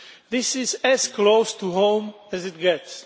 This is as close to home as it gets.